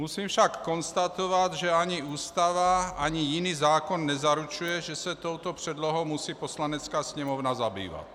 Musím však konstatovat, že ani Ústava ani jiný zákon nezaručuje, že se touto předlohou musí Poslanecká sněmovna zabývat.